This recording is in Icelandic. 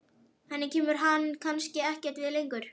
Henni kemur hann kannski ekkert við lengur.